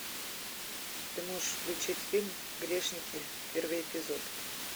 ты можешь включить фильм грешники первый эпизод